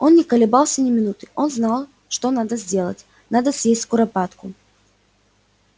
он не колебался ни минуты он знал что надо сделать надо съесть куропатку